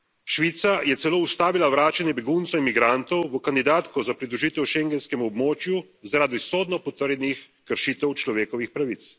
Švica je celo ustavila vračanje beguncev in migrantov v kandidatko za pridružitev schengenskemu območju zaradi sodno potrjenih kršitev človekovih pravic.